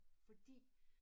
Fordi